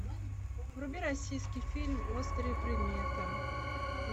вруби российский фильм острые предметы